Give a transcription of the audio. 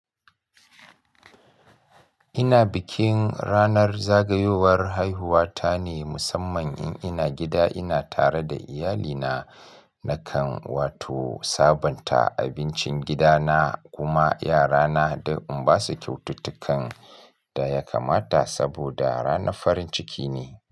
Ina bikin ranar zagayowar haihuwa ta ne musamman in ina gida, ina tare da iyalina nakan wato sabonta abincin gida na kuma yara na da in basu kyaututtukan da ya kamata saboda rana farin ciki ne.